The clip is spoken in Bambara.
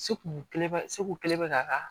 Se kun kelen bɛ se kun kelen bɛ k'a ka